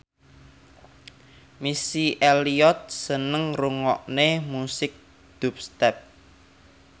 Missy Elliott seneng ngrungokne musik dubstep